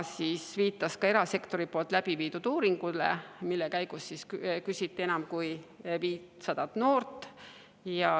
Ta viitas ka erasektori tehtud uuringule, mille käigus küsitleti enam kui 500 noort.